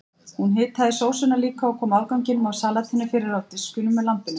Hún hitaði sósuna líka og kom afganginum af salatinu fyrir á diskunum með lambinu.